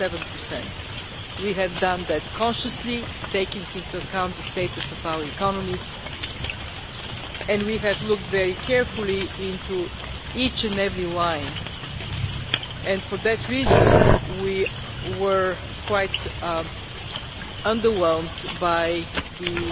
7. We have done that consciously, taking into account the status of our economies and we have looked very carefully into each and every budget line. For that reason, we were quite underwhelmed by the